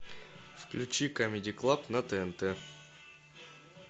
включи камеди клаб на тнт